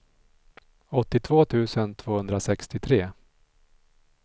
åttiotvå tusen tvåhundrasextiotre